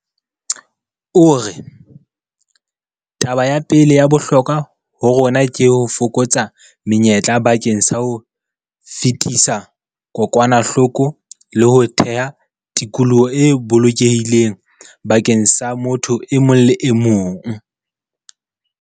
O re, Taba ya pele ya bohlokwa ho rona ke ho fokotsa menyetla bakeng sa ho fetisa kokwanahloko le ho theha tikoloho e bolokehileng bakeng sa motho e mong le e mong.